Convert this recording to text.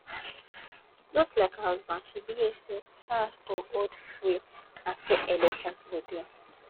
just like her husband she believe say chance to hold free and fair elections go dey